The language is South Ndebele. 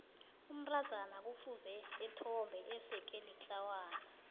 umntazana kufuze ethombe eseke litlawana